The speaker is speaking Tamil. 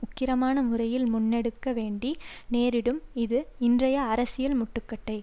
உக்கிரமான முறையில் முன்னெடுக்க வேண்டி நேரிடும் இது இன்றைய அரசியல் முட்டுக்கட்டை